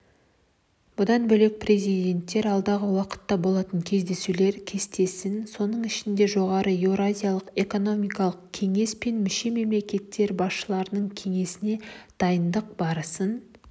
бұдан бөлек президенттер алдағы уақытта болатын кездесулер кестесін соның ішінде жоғары еуразиялық экономикалық кеңес пен мүше мемлекеттер басшыларының кеңесіне дайындық барысын